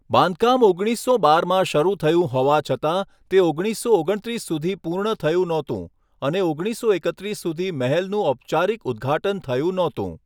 બાંધકામ ઓગણીસો બારમાં શરૂ થયું હોવા છતાં, તે ઓગણીસસો ઓગણ ત્રીસ સુધી પૂર્ણ થયું ન હતું, અને ઓગણીસો એકત્રીસ સુધી મહેલનું ઔપચારિક ઉદ્ઘાટન થયું ન હતું.